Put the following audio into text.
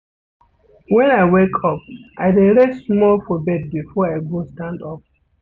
Wen I wake up I dey rest small for bed before I go stand up.